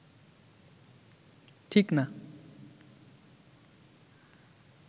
ঠিক না